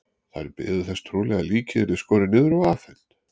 Þær biðu þess trúlega að líkið yrði skorið niður og afhent.